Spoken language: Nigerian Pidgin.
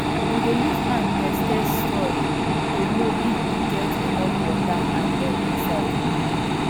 we dey use hand test test soil to know if e get enough water and air inside um